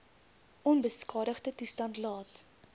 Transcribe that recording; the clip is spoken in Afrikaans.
onbeskadigde toestand laat